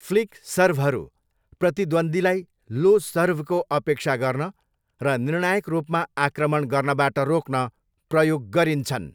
Flick सर्भहरू प्रतिद्वन्द्वीलाई low सर्भको अपेक्षा गर्न र निर्णायक रूपमा आक्रमण गर्नबाट रोक्न प्रयोग गरिन्छन्।